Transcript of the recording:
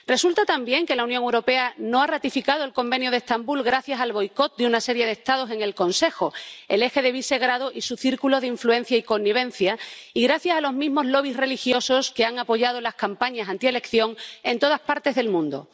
Resulta también que la Unión Europea no ha ratificado el Convenio de Estambul gracias al boicot de una serie de Estados en el Consejo ―el eje de Visegrado y su círculo de influencia y connivencia― y gracias a los mismos lobbies religiosos que han apoyado las campañas antielección en todas las partes del mundo.